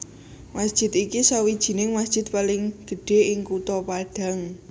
Masjid iki sawijining masjid paling gedhe ing Kutha Padang